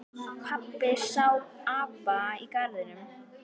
Pabbi sá apa í garðinum.